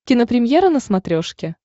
кинопремьера на смотрешке